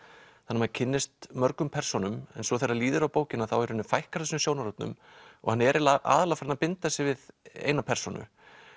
maður kynnist mörgum persónum en svo þegar líður á bókina þá fækkar þessum sjónarhornum og hann er aðallega farinn að binda sig við eina persónu